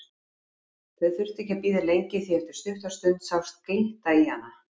Þau þurftu ekki að bíða lengi því að eftir stutta stund sást glitta í hana.